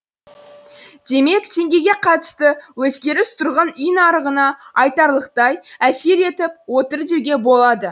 демек теңгеге қатысты өзгеріс тұрғын үй нарығына айтарлықтай әсер етіп отыр деуге болады